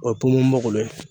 O